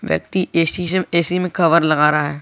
व्यक्ति AC AC में लगा रहा है।